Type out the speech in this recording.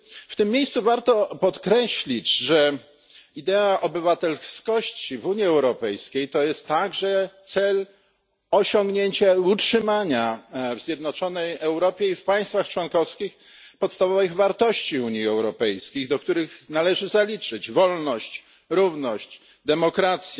W tym miejscu warto bowiem podkreślić, że idea obywatelskości w Unii Europejskiej oznacza również osiągnięcie i utrzymanie w zjednoczonej Europie i w państwach członkowskich podstawowych wartości Unii Europejskiej, do których należy zaliczyć wolność, równość, demokrację,